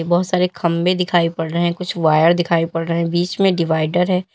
बहुत सारे खंभे दिखाई पड़ रहे हैं कुछ वायर दिखाई पड़ रहे है बीच में डिवाइडर है।